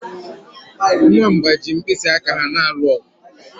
Nwamba ji mkpịsị aka ha na-alụ ọgụ